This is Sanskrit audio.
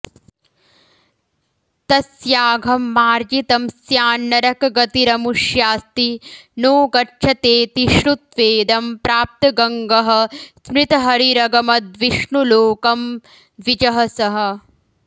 तस्याघं मार्जितं स्यान्नरकगतिरमुष्यास्ति नो गच्छतेति श्रुत्वेदं प्राप्तगङ्गः स्मृतहरिरगमद्विष्णुलोकं द्विजः सः